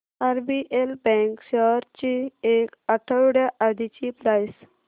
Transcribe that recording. RBL bank shares ची एक आठवड्या आधीची प्राइस